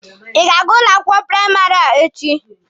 Ị ga-aga ụlọ akwụkwọ praịmarị a echi?